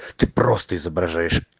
ты просто изображаешь